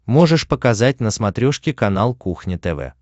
можешь показать на смотрешке канал кухня тв